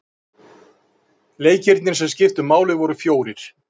Leikirnir sem skiptu máli voru fjórir.